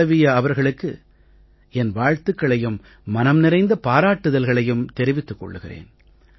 மாளவீயா அவர்களுக்கு என் வாழ்த்துக்களையும் மனம் நிறைந்த பாராட்டுதல்களையும் தெரிவித்துக் கொள்கிறேன்